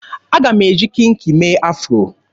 Aga m eji kinki mee afro.